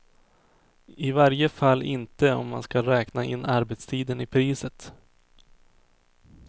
I varje fall inte om man skall räkna in arbetstiden i priset.